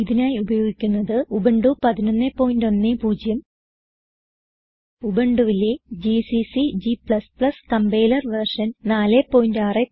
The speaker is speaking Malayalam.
ഇതിനായി ഉപയോഗിക്കുന്നത് ഉബുന്റു 1110 ഉബുണ്ടുവിലെ ജിസിസി g കമ്പൈലർ വെർഷൻ 461